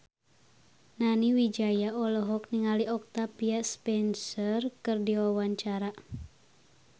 Nani Wijaya olohok ningali Octavia Spencer keur diwawancara